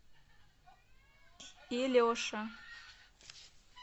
илеша